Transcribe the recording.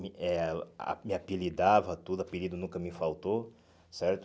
Me eh ah me apelidava tudo, apelido nunca me faltou, certo?